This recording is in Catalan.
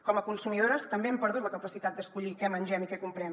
com a consumidores també hem perdut la capacitat d’escollir què mengem i què comprem